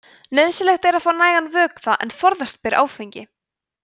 nauðsynlegt er að fá nægan vökva en forðast ber áfengi